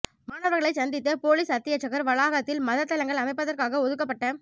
மாணவர்களைச் சந்தித்த பொலிஸ் அத்தியட்சகர் வளாகத்தில் மத தலங்கள் அமைப்பதற்காக ஒதுக்கப்பட்ட